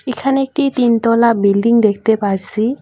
এখানে একটি তিন তলা বিল্ডিং দেখতে পারসি।